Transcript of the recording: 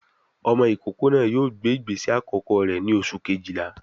Ọmọ ìkókó náà yóò gbé ìgbésẹ̀ àkọ́kọ́ rẹ̀ ní oṣù Kejìlá